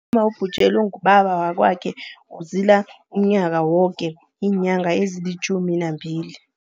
Umma obhujelwe ngubaba wakwakhe uzila umnyaka woke iinyanga ezilitjhumi nambili.